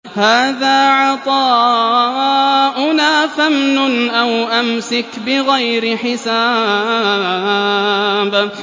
هَٰذَا عَطَاؤُنَا فَامْنُنْ أَوْ أَمْسِكْ بِغَيْرِ حِسَابٍ